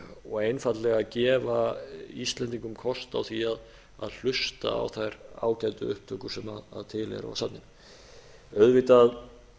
og einfaldlega gefa íslendingum kost á því að hlusta á þær ágætu upptökur sem til eru á safninu auðvitað